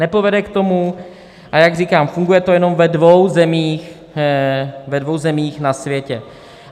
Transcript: Nepovede k tomu a jak říkám, funguje to jenom ve dvou zemích na světě.